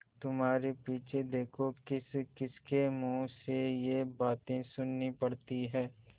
तुम्हारे पीछे देखो किसकिसके मुँह से ये बातें सुननी पड़ती हैं